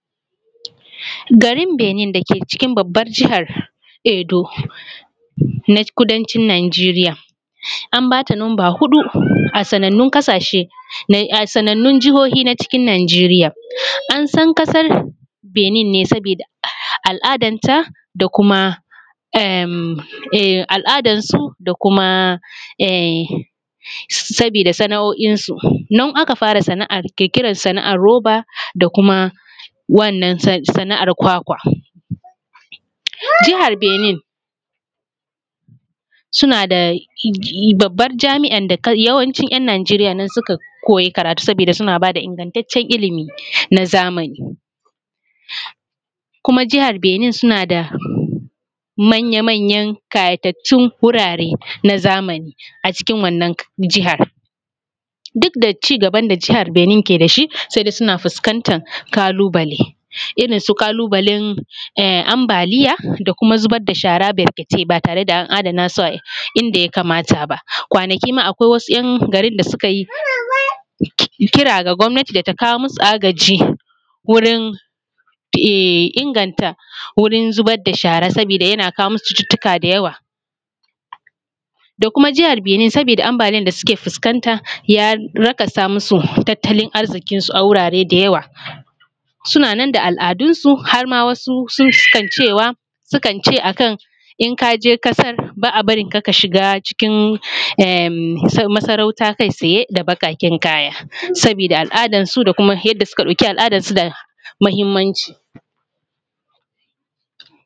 Garin Benin dake cikin babbar jahar Edo na kudancin Nijeriya, an bata numba huɗu a sanannun kasashe a sanannun jahohi na Nijeriya an san kasar Benin ne saboda al’adar ta da kuma saboda sana’o’in su nan aka fara kirkirar sana’ar roba da kuma wannan sana’ar kwakwa, Jahar Benin suna da babbar Jami’ar da yawancin ‘yan Nijeriya nan suka koyi karatu saboda suna bada ingantacen ilimi na zamani kuma jahar Benin suna da manya-manyan ƙayatattun wurare na zamani a cikin wannan jahar, duk da cigaban da jahar Benin ke da shi sai kaga suna fuskantar kalubale irinsu kalubalen ambaliya da kuma zubar da shara barkatai ba tare da an adana su inda ya kamata ba kwanaki ma akwai wasu ‘yan garin da suka yi kira ga gwamnati da ta kawo musu agaji wurin inganta wurin zubar da shara saboda yana kawo musu cututtuka da yawa, da kuma jahar Benin saboda ambaliyar da suke fuskanta ya nakasa masu tattalin arzikinsu a wurare da yawa, suna nan da al’adun su har ma wasu sun sukan ce akan inka je kasar ba a barinka ka shiga cikin masarauta kai tsaye da baƙaƙen kaya saboda al’adar su da kuma yadda suka ɗauki al’adarsu da muhimmanci.